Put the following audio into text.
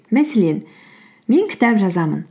мәселен мен кітап жазамын